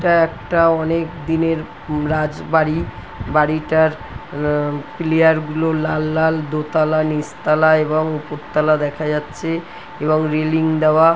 এটা একটা অনেকদিনের রাজবাড়ী বাড়িটার পিলিয়ার -গুলো লাল লাল দোতলা নিচতলা এবং ওপরতলা দেখা যাচ্ছে এবং রেলিং দেওয়া ।